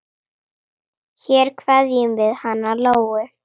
Hér kveðjum við hana Lóu.